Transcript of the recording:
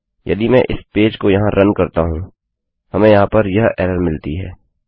यदि मैं इस पेज को यहाँ रन करता हूँ हमें यहाँ पर यह एरर मिलती है